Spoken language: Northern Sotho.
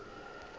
ke na le tshepo ya